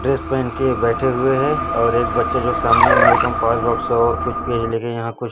dress पहन के बैठे हुए हैं और एक बच्चे जो सामने में मेन कंपास बॉक्स और कुछ पेज लेकर यहां कुछ--